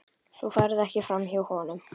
Þú ferð ekki framhjá honum.